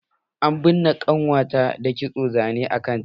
An binne ƙannuwa ta da kitson zane a kanta.